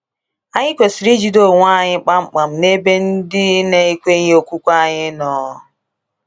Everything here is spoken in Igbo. Anyị kwesịrị ijide onwe anyị kpamkpam n’ebe ndị na-ekweghị okwukwe anyị nọ?